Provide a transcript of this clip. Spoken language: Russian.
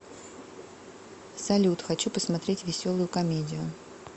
салют хочу посмотреть веселую комедию